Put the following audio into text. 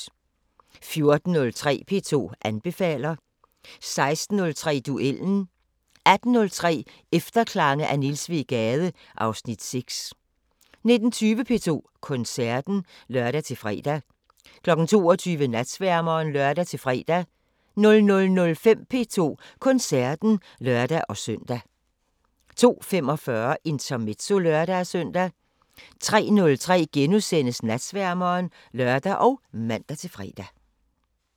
14:03: P2 anbefaler 16:03: Duellen 18:03: Efterklange af Niels W. Gade (Afs. 6) 19:20: P2 Koncerten (lør-fre) 22:00: Natsværmeren (lør-fre) 00:05: P2 Koncerten (lør-søn) 02:45: Intermezzo (lør-søn) 03:03: Natsværmeren *(lør og man-fre)